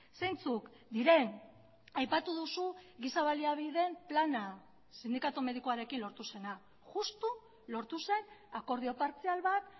zeintzuk diren aipatu duzu giza baliabideen plana sindikatu medikuarekin lortu zena justu lortu zen akordio partzial bat